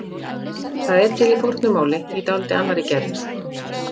Það er til í fornu máli í dálítið annarri gerð.